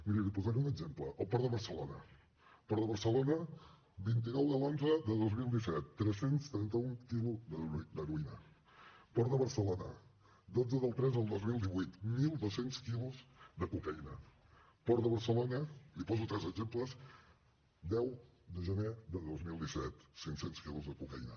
miri li posaré un exemple el port de barcelona al port de barcelona el vint nou de l’xi de dos mil disset tres cents i trenta un quilos d’heroïna port de barcelona dotze del iii del dos mil divuit mil dos cents quilos de cocaïna port de barcelona li poso tres exemples deu de gener de dos mil disset cinc cents quilos de cocaïna